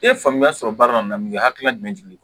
E ye faamuya sɔrɔ baara in na hakilina jumɛn di